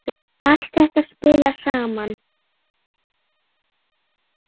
Allt þetta spilar saman.